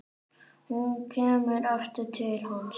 Hún kemur aftur til hans.